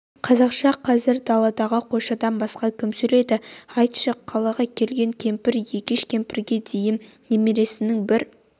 қазақша қазір даладағы қойшыдан басқа кім сөйлейді айтшы қалаға келген кемпір екеш кеміпрге дейін немересінің бір